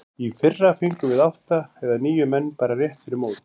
Í fyrra fengum við átta eða níu menn bara rétt fyrir mót.